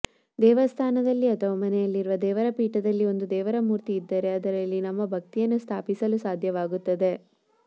ದೇವಸ್ಥಾನದಲ್ಲಿ ಅಥವಾ ಮನೆಯಲ್ಲಿರುವ ದೇವರ ಪೀಠದಲ್ಲಿ ಒಂದು ದೇವರ ಮೂರ್ತಿ ಇದ್ದರೆ ಅದರಲ್ಲಿ ನಮ್ಮ ಭಕ್ತಿಯನ್ನು ಸ್ಥಾಪಿಸಲು ಸಾಧ್ಯವಾಗುತ್ತದೆ